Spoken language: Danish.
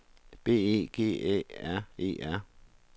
B E G Æ R E R